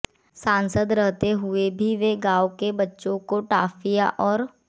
सांसद रहते हुए भी वे गांव के बच्चों को टाफियां और